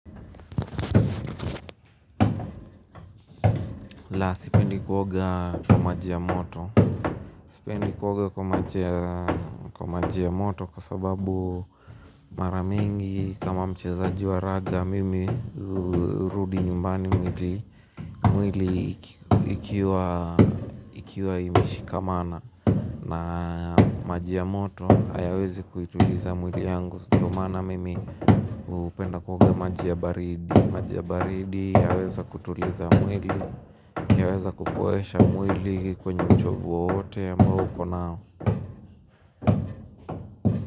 La, sipendi kuoga kwa maji ya moto. Sipendi kuoga maji ya moto kwa sababu mara mingi, kama mchezaji wa raga, mimi hurudi nyumbani mwili ikiwa imeshikamana. Na maji ya moto hayawezi kuituliza mwili yangu. Ndiyo maana mimi hupenda kuoga maji ya baridi. Maji ya baridi yaweza kutuliza mwili. Yaweza kupoesha mwili kwenye uchovu wowote ambao ukonao.